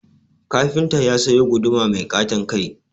Kafinta ya sayo guduma mai ƙaton kai